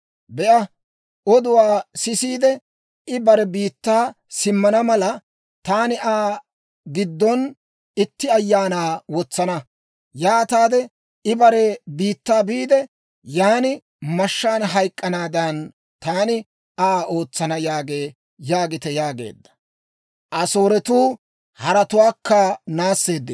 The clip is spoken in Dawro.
Be'a, oduwaa sisiide, I bare biittaa simmana mala, taani Aa giddon itti ayaanaa wotsana. Yaataade I bare biittaa biide, yan mashshaan hayk'k'anaadan, taani Aa ootsana yaagee› » yaagite yaageedda.